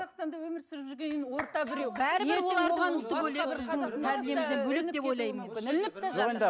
өмір сүріп жүргеннен кейін орта біреу